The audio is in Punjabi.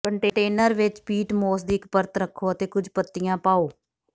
ਕੰਟੇਨਰ ਵਿੱਚ ਪੀਟ ਮੋਸ ਦੀ ਇੱਕ ਪਰਤ ਰੱਖੋ ਅਤੇ ਕੁਝ ਪੱਤੀਆਂ ਪਾਓ